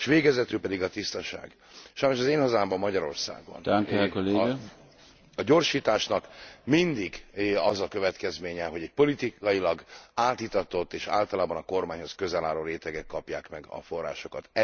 S végezetül pedig a tisztaság. Sajnos az én hazámban, Magyarországon a gyorsításnak mindig az a következménye, hogy egy politikailag átitatott és általában a kormányhoz közel álló rétegek kapják meg a forrásokat.